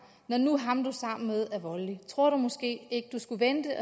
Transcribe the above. når nu ham du er sammen med er voldelig tror du måske ikke du skulle vente